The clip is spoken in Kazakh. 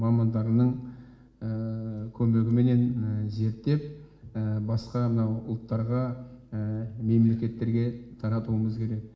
мамандарының көмегіменен зерттеп басқа мынау ұлттарға мемлекеттерге таратуымыз керек